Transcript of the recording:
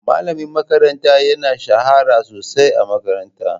Malamin makaranta ya shahara sosai a makarantar.